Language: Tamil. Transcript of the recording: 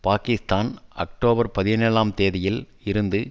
பாக்கிஸ்தான் அக்டோபர் பதினேழாம் தேதியில் இருந்து